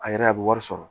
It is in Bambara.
A yɛrɛ a bɛ wari sɔrɔ